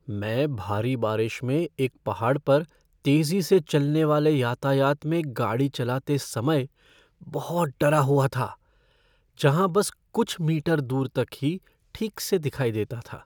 मैं भारी बारिश में एक पहाड़ पर तेजी से चलने वाले यातायात में गाड़ी चलाते समय बहुत डरा हुआ था, जहाँ बस कुछ मीटर दूर तक ही ठीक से दिखाई देता था।